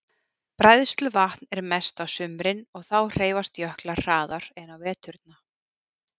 Bræðsluvatn er mest á sumrin og þá hreyfast jöklar hraðar en á veturna.